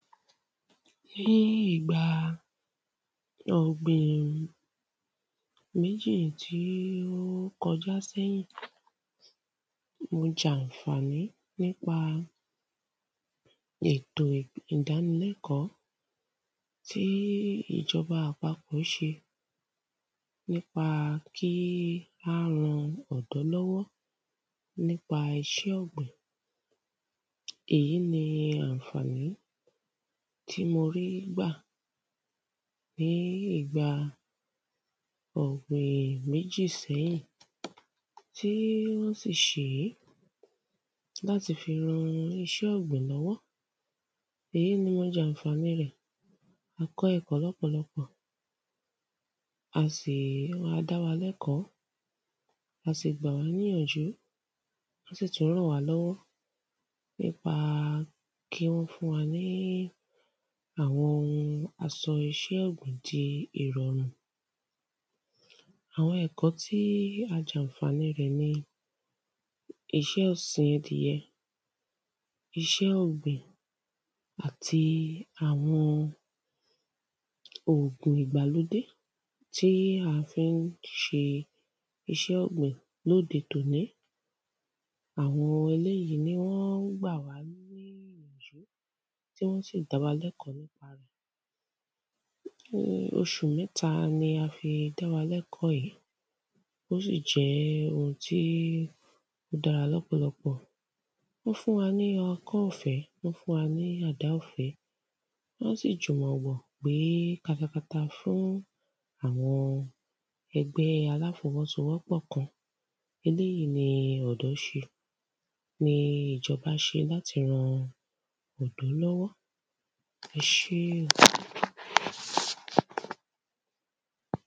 Ní ìgbà ọ̀gbìn méjì tí ó kọjá sẹ́yìn ó ń jẹ ànfàní nípa ètò ìdánilẹ́kọ̀ tí ìjọba àpapọ̀ ṣe nípa kí á ran ọ̀dọ́ lọ́wọ́ nípa iṣẹ́ ọ̀gbìn èyí ni ànfání tí mo rí gbà ní ìgba ọ̀gbìn méjì sẹ́yìn tí ń sì ṣé láti fi ran iṣẹ́ ọ̀gbìn lọ́wọ́ Èyí ni mo jànfàní rẹ̀ mo kọ́ ẹ̀kọ́ lọ́pọ̀lọpọ̀ mó si a dá wa lẹ́kọ̀ọ́ a sì gbà wá níyànjú wọ́n sì tún ràn wá lọ́wọ́ nípa kí wọ́n fún wa ní àwọn ohun ìsọ iṣẹ́ àgbẹ̀ di ìrọ̀rùn. Àwọn ẹ̀kọ́ tí a jànfàní rẹ̀ ni iṣẹ́ ọ̀sìn ẹdìyẹ iṣẹ́ ọ̀gbìn àti àwọn òògùn ìgbàlódé tí à fí ń ṣe iṣẹ́ ọ̀gbìn lóde tòní àwọn ohun eléèyí ni wọ́n gbà wá ní ìyànjú tí wọ́n sì dá wa lẹ́kọ̀ọ́ nípa rẹ̀. fún oṣù mẹ́ta ni a fi dá wa lẹ́kọ̀ọ́ yìí ó sì jẹ́ ohun tí ó dára lọ́pọ̀lọpọ̀ wọ́n fún wa ní ọkọ́ ọ̀fẹ́ wọ́n fún wa ní àdá ọ̀fẹ́ wọ́n sì jùmọ̀ wọ̀ pé ká fi fún àwọn ẹgbẹ́ aláfọwọ́sowọ́pọ̀ kan eléèyí ni ọ̀dọ́ ṣe ni ìjọba ṣe láti ran ọ̀dọ́ lọ́wọ́ ẹṣé o.